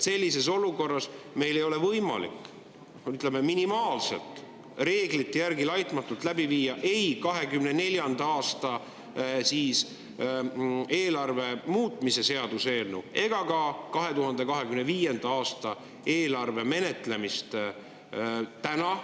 Sellises olukorras ei ole meil täna võimalik, ütleme, reeglite järgi laitmatult läbi viia ei 2024. aasta eelarve muutmise seaduse eelnõu ega ka 2025. aasta eelarve menetlemist.